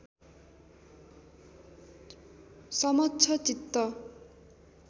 समक्ष चित्त